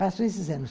Passaram esses anos.